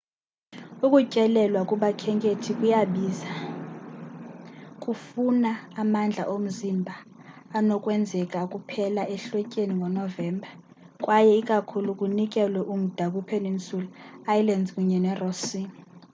ukutyelelwa kubakhenkethi kuyabiza kufuna amandla omzimba anokwenzeka kuphela ehlotyeni ngo-novemba kwaye ikakhulu kunikelwe umda kwipeninsula islands kunye neross sea